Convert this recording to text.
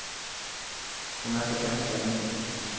Hun er så ganske almindelig.